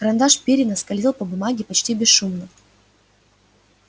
карандаш пиренна скользил по бумаге почти бесшумно